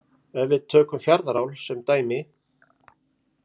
Ef við tökum Fjarðaál sem dæmi.